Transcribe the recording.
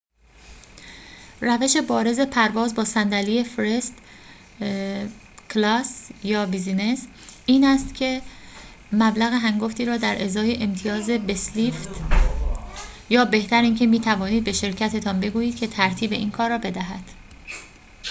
روش بارز پرواز با صندلی فرست کلاس یا بیزینس این است که مبلغ هنگفتی را در ازای امتیاز بسلفید یا بهتر اینکه می‌توانید به شرکتتان بگویید که ترتیب این کار را بدهد